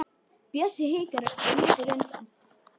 Bjössi hikar og lítur undan.